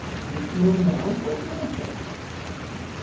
Ekki slorleg ábót manneskja!